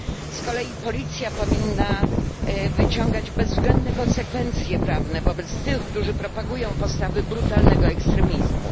Z kolei policja powinna wyciągać bezwzględne konsekwencje prawne wobec tych, którzy propagują postawy brutalnego ekstremizmu.